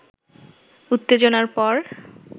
উত্তেজনার পর